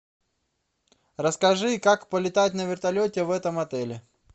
расскажи как полетать на вертолете в этом отеле